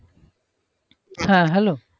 হ্যাঁ hello